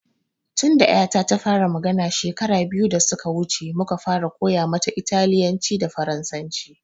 Tun da ƴata ta fara magana shekara biyu da suka wuce muka fara koya mata italyanci da farasanci